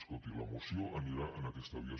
escolti la moció anirà en aquesta via